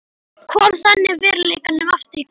Kom þannig veruleikanum aftur í gang.